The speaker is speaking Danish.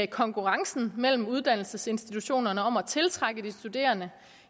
konkurrencen mellem uddannelsesinstitutionerne om at tiltrække de studerende